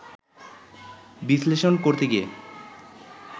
বিশ্লেষণ করতে গিয়ে